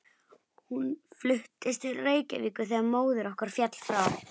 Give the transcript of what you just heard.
Hún fluttist til Reykjavíkur þegar móðir okkar féll frá.